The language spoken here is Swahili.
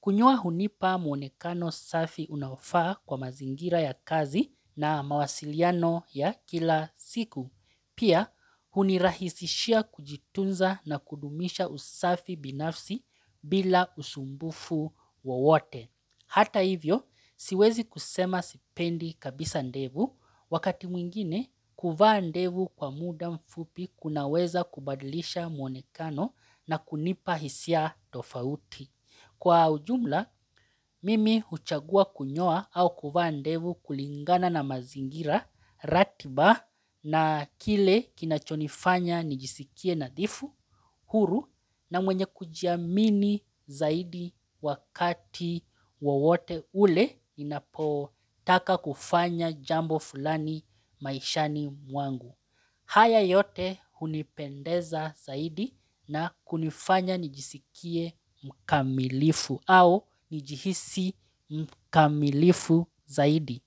Kunyoa hunipa muonekano safi unaofaa kwa mazingira ya kazi na mawasiliano ya kila siku. Pia hunirahisishia kujitunza na kudumisha usafi binafsi bila usumbufu wowote. Hata hivyo, siwezi kusema sipendi kabisa ndevu wakati mwingine kuvaa ndevu kwa muda mfupi kunaweza kubadilisha muonekano na kunipa hisia tofauti. Kwa ujumla, mimi huchagua kunyoa au kuvaa ndevu kulingana na mazingira ratiba na kile kinachonifanya nijisikie nadhifu, huru na mwenye kujiamini zaidi wakati wowote ule ninapotaka kufanya jambo fulani maishani mwangu. Haya yote hunipendeza zaidi na kunifanya nijisikie mkamilifu au nijihisi mkamilifu zaidi.